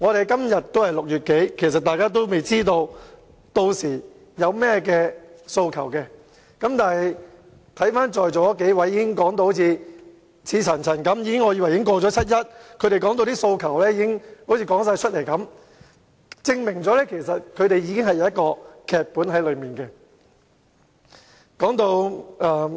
今天仍是6月尾，大家應該還未知道屆時市民有甚麼訴求，但在座已發言的數位議員剛才卻言之鑿鑿，令我還以為已經過了七一，所以他們能夠把訴求一一道出，這正好證明他們已經編好了劇本。